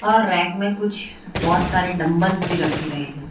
और रैक में कुछ बहोत सारे डंबल्स भी रखे गए हैं।